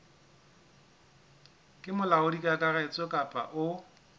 ke molaodi kakaretso kapa o